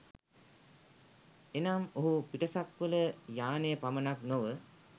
එනම් ඔහු පිටසක්වළ යානය පමණක් නොව,